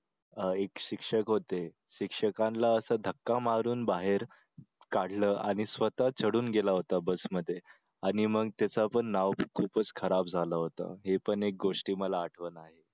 अह एक शिक्षक होते शिक्षकांना असा धक्का मारून बाहेर काढलं आणि स्वतः चढून गेला होता बस मध्ये आणि मग त्याचं पण नाव खूपच खराब झाले होत हे पण एक गोष्ट मला आठवत आहे